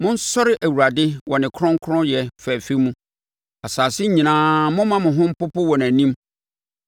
Monsɔre Awurade wɔ ne kronkronyɛ fɛfɛ mu; asase nyinaa momma mo ho mpopo wɔ nʼanim.